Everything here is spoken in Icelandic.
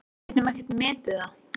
Við getum ekkert metið það.